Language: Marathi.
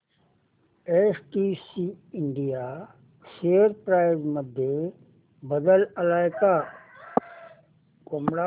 एसटीसी इंडिया शेअर प्राइस मध्ये बदल आलाय का